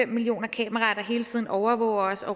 million kameraer der hele tiden overvåger os